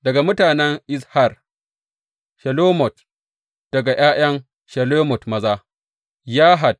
Daga mutanen Izhar, Shelomot; daga ’ya’yan Shelomot maza, Yahat.